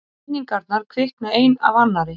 Minningarnar kvikna ein af annarri.